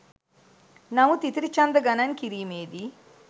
නමුත් ඉතිරි ඡන්ද ගණන් කිරීමේ දී